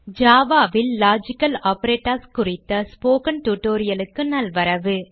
Java ல் logical operators குறித்த spoken tutorial க்கு நல்வரவு